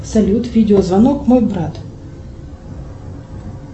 салют видеозвонок мой брат